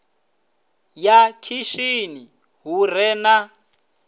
ya khishini hu re na